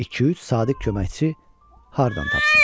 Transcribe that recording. İki-üç sadiq köməkçi hardan tapsın?